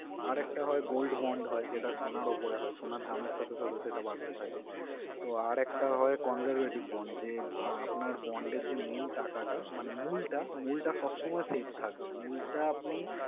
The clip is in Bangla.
আর একটা হয় gold bond হয়, যেটা সোনার উপরে হয়। সোনার দামের সাথে সাথে সেটা বাড়তে থাকে। তো, আর একটা হয় conservative bond যে, আহ আপনার bond এর যে main টাকাটা মানে মূলটা মূলটা সবসময় save থাকবে। মূলটা আপনি